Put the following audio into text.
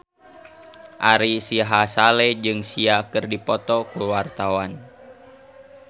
Ari Sihasale jeung Sia keur dipoto ku wartawan